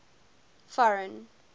foreign